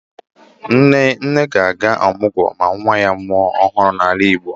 Nne ga-aga ọmụgwọ ma nwa ya mụọ nwa ọhụrụ n'ala Igbo